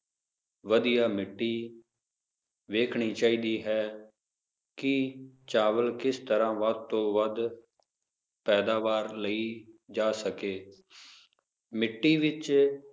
ਵਧੀਆ ਮਿੱਟੀ ਵੇਖਣੀ ਚਾਹੀਦੀ ਹੈ, ਕੀ ਚਾਵਲ ਕਿਸ ਤਰ੍ਹਾਂ ਵੱਧ ਤੋਂ ਵੱਧ ਪੈਦਾਵਾਰ ਲਈ ਜਾ ਸਕੇ ਮਿੱਟੀ ਵਿਚ